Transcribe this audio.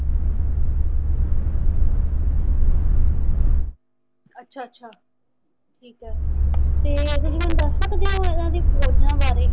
ਅੱਛਾ ਅੱਛਾ ਠੀਕ ਏ ਤੇ ਤੁਸੀਂ ਮੈਨੂੰ ਦੱਸ ਸਕਦੇ ਓ ਇਹਨਾਂ ਦੀ ਫੌਜਾਂ ਬਾਰੇ?